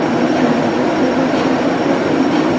बहुत सारे व्यक्ति लोग दिखाई दे रहे हैं।